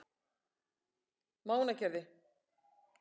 Mánagerði